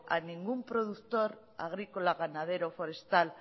a ningún productor agrícola ganadero forestal